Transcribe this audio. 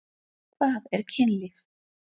Hvað er kynlíf?